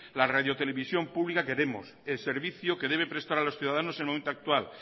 la radiotelevisión pública que vemos el servicio que debe prestar a los ciudadanos en el momento actual